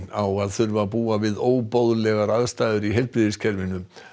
á að þurfa að búa við óboðlegar aðstæður í heilbrigðiskerfinu